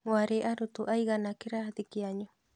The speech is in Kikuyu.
Mwarĩ arutwo aigana kĩrathi kĩanyu?